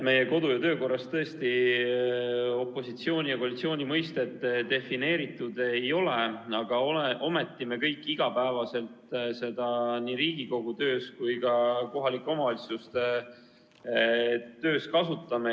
Meie kodu- ja töökorras tõesti opositsiooni ja koalitsiooni mõistet defineeritud ei ole, aga ometi me kõik neid iga päev nii Riigikogu töös kui ka kohalike omavalitsuste töös kasutame.